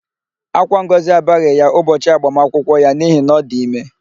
Ákwá Ngọzi abaghị ya ụbọchị agbamakwụkwọ ya n'ihi na ọ dị ime.